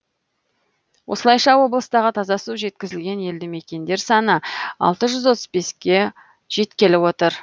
осылайша облыстағы таза су жеткізілген елді мекендер саны алты жүз отыз беске жеткелі отыр